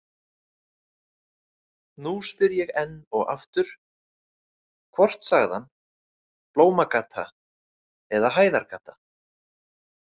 Nú spyr ég enn og aftur: hvort sagði hann Blómagata eða Hæðargata?